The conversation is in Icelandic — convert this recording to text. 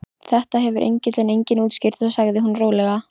Þetta hefur engillinn einnig útskýrt sagði hún rólega.